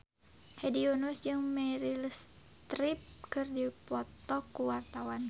Hedi Yunus jeung Meryl Streep keur dipoto ku wartawan